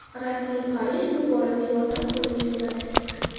Rasmiy Parij bu borada yordam qo‘lini cho‘zadi.